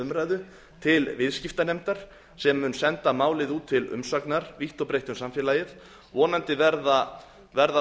umræðu til viðskiptanefndar sem mun senda málið út til umsagnar vítt og breitt um samfélagið vonandi verða